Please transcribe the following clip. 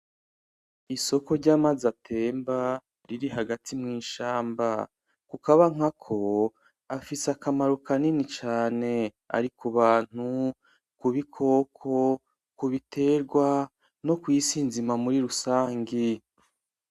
Isoko ry'amazi atemba riri hagati mw'ishamba kukaba nkako afise akamaro kanini cane ari ku bantu, ku bikoko, ku biterwa no kw'isi nzima muri rusangi.